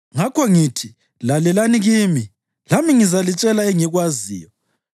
Ngakho ngithi: Lalelani kimi; lami ngizalitshela engikwaziyo.